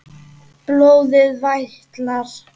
Blóðið vætlar.